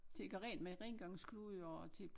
Til at gøre rent med rengøringsklude og til